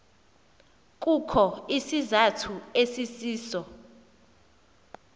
kukho isizathu esisiso